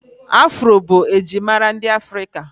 Afro bụ njirimara ndị afrika